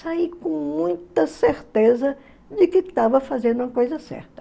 Saí com muita certeza de que estava fazendo uma coisa certa.